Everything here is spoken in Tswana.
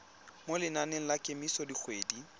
mo lenaneng la kemiso dikgwedi